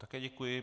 Také děkuji.